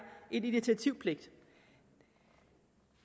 en initiativpligt